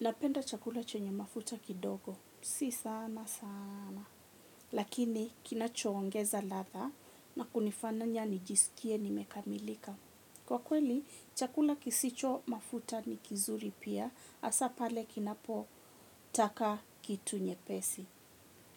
Napenda chakula chenye mafuta kidogo, si sana sana, lakini kinacho ongeza ladha na kunifanya nijisikie nimekamilika. Kwa kweli, chakula kisicho mafuta ni kizuri pia, hasa pale kinapotaka kitu nyepesi.